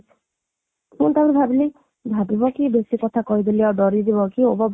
ପୁଣି ତା'ପରେ ଭାବିଲି ଭାବିବ କି ବେଶୀ କଥା କହିଦେଲି ଆଉ ଡରି ଯିବକି